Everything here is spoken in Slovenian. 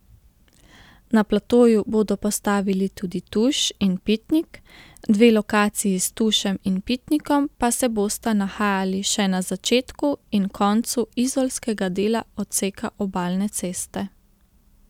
Na platoju bodo postavili tudi tuš in pitnik, dve lokaciji s tušem in pitnikom pa se bosta nahajali še na začetku in koncu izolskega dela odseka obalne ceste.